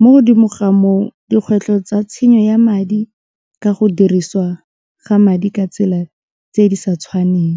mo godimo ga moo dikgwetlho tsa tshenyo ya madi ka go dirisiwa ga madi ka tsela tse di sa tshwaneng.